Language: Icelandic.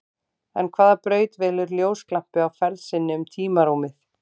En hvaða braut velur ljósglampi á ferð sinni um tímarúmið?